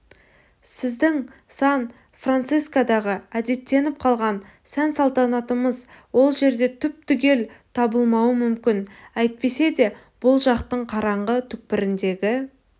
сіздің сан-францискодағы әдеттеніп қалған сән-салтанатыңыз ол жерде түп-түгел табылмауы мүмкін әйтсе де бұл жақтың қараңғы түкпіріндегі